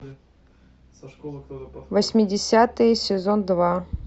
восьмидесятые сезон два